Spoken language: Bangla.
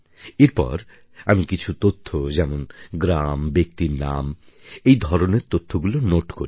এরপর আমি কিছু তথ্য যেমন গ্রাম ব্যক্তির নাম এই ধরনের তথ্যগুলি নোট করি